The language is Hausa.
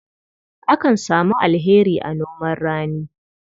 Akan samu alheri a noman rani.